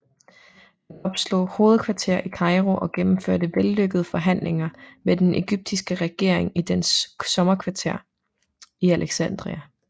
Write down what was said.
Han opslog hovedkvarter i Kairo og gennemførte vellykkede forhandlinger med den ægyptiske regering i dens sommerkvarter i Alexandria